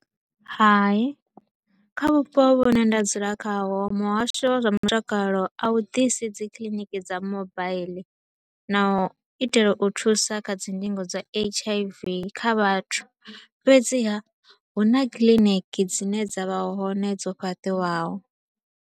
Hai, kha vhupo vhu ne nda dzula khaho muhasho wa zwa mutakalo a u disi dzi kiliniki dza mobile na u itela u thusa kha dzi ndingo dza H_I_V kha vhathu, fhedziha hu na kiḽiniki dzi ne dza vha hone dzo fhaṱiwaho.